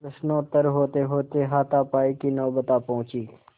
प्रश्नोत्तर होतेहोते हाथापाई की नौबत आ पहुँची